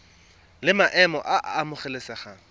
la maemo a a amogelesegang